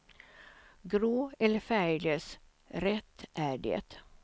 Grå eller färglös, rätt är det.